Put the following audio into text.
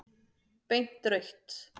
Beint rautt.